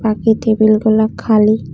এই টেবিলগুলা খালি।